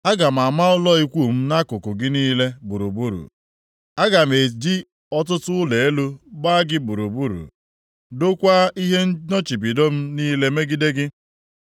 Aga m ama ụlọ ikwu m nʼakụkụ gị niile gburugburu, aga m eji ọtụtụ ụlọ elu gba gị gburugburu dokwaa ihe nnọchibido m niile megide gị.